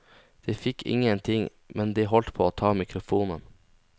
De fikk ingenting, men de holdt på å ta mikrofonen.